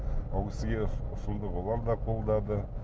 ол кісіге ұсынды олар да қолдады